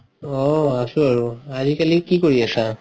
অহ আছো আৰু। আজিকালি কি কৰি আছা?